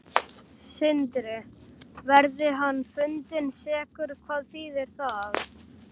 Sindri: Verði hann fundinn sekur, hvað þýðir það?